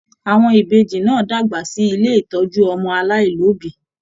Àwọn Ìbejì náà dàgbà sí ilé ìtọjú ọmọ alailobi.